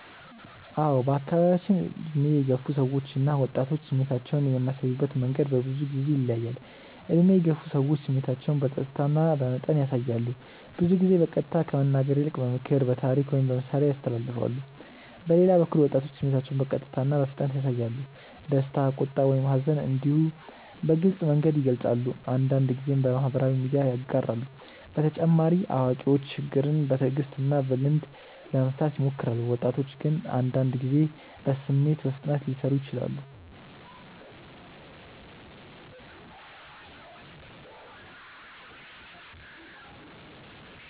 አዎ በአካባቢያችን ዕድሜ የገፉ ሰዎች እና ወጣቶች ስሜታቸውን የሚያሳዩበት መንገድ በብዙ ጊዜ ይለያያል። ዕድሜ የገፉ ሰዎች ስሜታቸውን በጸጥታ እና በመጠን ያሳያሉ። ብዙ ጊዜ በቀጥታ ከመናገር ይልቅ በምክር፣ በታሪክ ወይም በምሳሌ ያስተላልፋሉ። በሌላ በኩል ወጣቶች ስሜታቸውን በቀጥታ እና በፍጥነት ያሳያሉ። ደስታ፣ ቁጣ ወይም ሐዘን እንዲሁ በግልጽ መንገድ ይገልጻሉ፤ አንዳንድ ጊዜም በማህበራዊ ሚዲያ ያጋራሉ። በተጨማሪ አዋቂዎች ችግርን በትዕግስት እና በልምድ ለመፍታት ይሞክራሉ፣ ወጣቶች ግን አንዳንድ ጊዜ በስሜት በፍጥነት ሊሰሩ ይችላሉ።